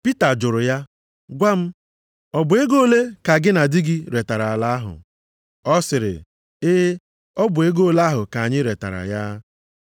Pita jụrụ ya, gwa m, “ọ bụ ego ole a ka gị na di gị retara ala ahụ?” Ọ sịrị, “E, ọ bụ ego ole ahụ ka anyị retara ya.”